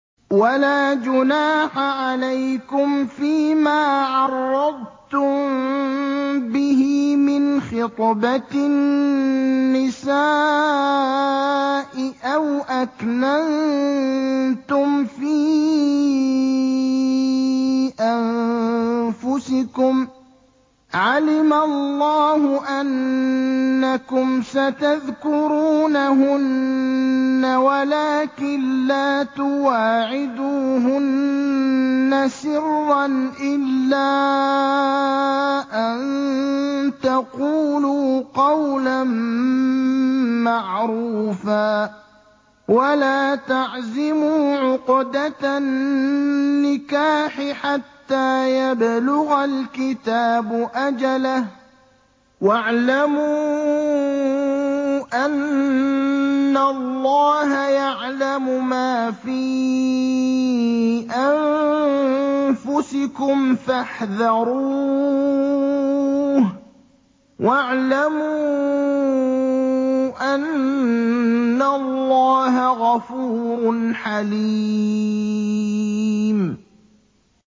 وَلَا جُنَاحَ عَلَيْكُمْ فِيمَا عَرَّضْتُم بِهِ مِنْ خِطْبَةِ النِّسَاءِ أَوْ أَكْنَنتُمْ فِي أَنفُسِكُمْ ۚ عَلِمَ اللَّهُ أَنَّكُمْ سَتَذْكُرُونَهُنَّ وَلَٰكِن لَّا تُوَاعِدُوهُنَّ سِرًّا إِلَّا أَن تَقُولُوا قَوْلًا مَّعْرُوفًا ۚ وَلَا تَعْزِمُوا عُقْدَةَ النِّكَاحِ حَتَّىٰ يَبْلُغَ الْكِتَابُ أَجَلَهُ ۚ وَاعْلَمُوا أَنَّ اللَّهَ يَعْلَمُ مَا فِي أَنفُسِكُمْ فَاحْذَرُوهُ ۚ وَاعْلَمُوا أَنَّ اللَّهَ غَفُورٌ حَلِيمٌ